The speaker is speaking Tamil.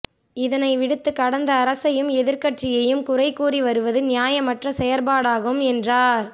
இதனை விடுத்து கடந்த அரசையும் எதிர்க்கட்சியையும் குறைகூறி வருவது நியாயமற்ற செயற்பாடாகும் என்றார்